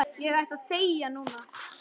Ég ætti að þegja núna.